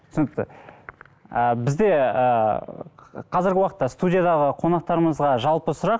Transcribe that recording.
түсінікті ы бізде ыыы қазіргі уақытта студиядағы қонақтарымызға жалпы сұрақ